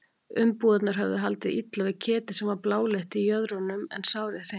Umbúðirnar höfðu haldið illa við ketið sem var bláleitt í jöðrunum en sárið hreint.